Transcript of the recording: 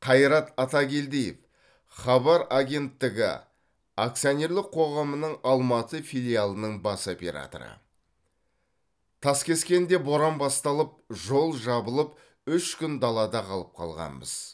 қайрат атакелдиев хабар агенттігі акционерлік қоғамының алматы филиалының бас операторы таскескенде боран басталып жол жабылып үш күн далада қалып қалғанбыз